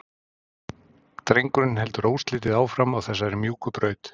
Drengurinn heldur óslitið áfram á þessari mjúku braut.